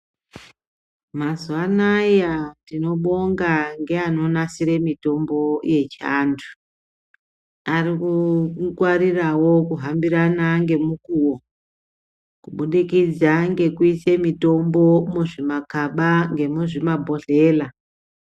Mazuwa anaya, tinobonga ngeanonasire mitombo yechiantu. Ari kungwarirawo kuhambirana nemukuwo, kubudikidza ngekuise mitombo, muzvimakaba ngemuzvimabhodhlela.